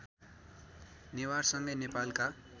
नेवारसँगै नेपालका